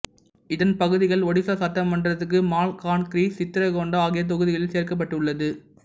இதன் பகுதிகள் ஒடிசா சட்டமன்றத்துக்கு மால்கான்கிரி சித்ரகோண்டா ஆகிய தொகுதிகளில் சேர்க்கப்பட்டுள்ளது